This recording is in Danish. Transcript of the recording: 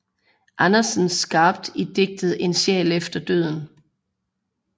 Andersen skarpt i digtet En sjæl efter døden